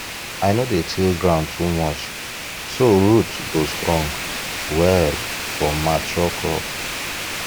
i no dey till ground too much so root go strong well for mature crop